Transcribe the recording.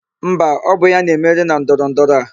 Mba, ọ bụ ya na-emeri na ndọrọndọrọ a.